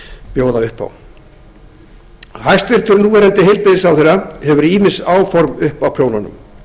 bjóða upp á hæstvirtan núv heilbrigðisráðherra hefur ýmis áform uppi á prjónunum